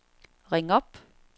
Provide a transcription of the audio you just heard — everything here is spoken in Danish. ring op